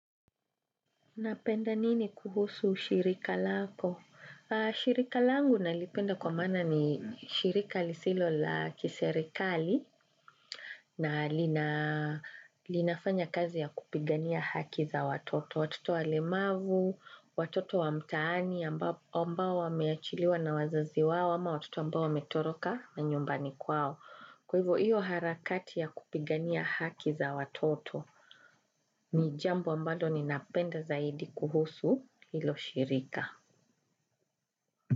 Napenda nini kuhusu shirika lako? Shirika langu nalipenda kwa mana ni shirika lisilo la kiserikali na linafanya kazi ya kupigania haki za watoto. Watoto walemavu, watoto wa mtaani, ambao wameachiliwa na wazazi wao, ama watoto ambao wametoroka manyumbani kwao. Kwa hivyo, hivyo harakati ya kupigania haki za watoto ni jambo ambalo ninapenda zaidi kuhusu. Hilo shirika.